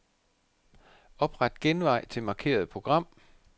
Opret genvej til markerede program.